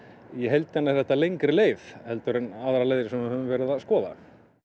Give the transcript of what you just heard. í heildina er þetta lengri leið en aðrar leiðir sem við höfum verið að skoða